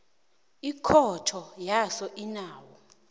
ikhotho yaso inawo